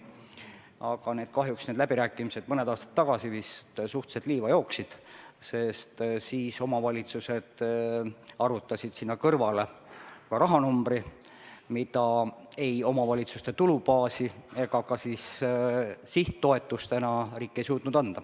Aga kahjuks jooksid need läbirääkimised vist mõned aastad tagasi suhteliselt liiva, sest omavalitsused arvutasid sinna kõrvale ka rahanumbri, mida riik ei suutnud anda ei omavalitsuste tulubaasi ega ka sihttoetusena.